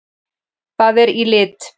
Það er í lit!